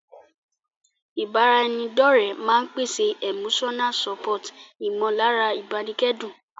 Ìbára ẹni dọ́ọ̀rẹ́ máa n pèsè Emotional support ìmọ̀lára ìbánikẹ́dùn